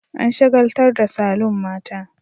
An shagaltar da saloon mata